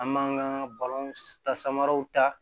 An m'an ka balon ta samaraw ta